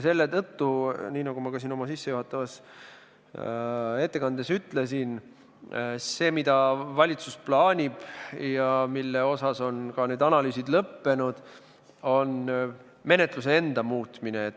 Selle tõttu, nii nagu ma ka oma sissejuhatavas ettekandes ütlesin, see, mida valitsus plaanib ja mille puhul on ka analüüsid lõppenud, on menetluse enda muutmine.